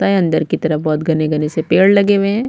लगता है अंदर की तरफ बहुत घने -घने से पेड़ लगे हुए हे।